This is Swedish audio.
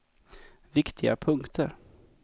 viktiga punkter